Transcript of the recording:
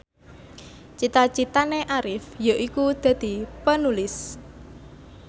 cita citane Arif yaiku dadi Penulis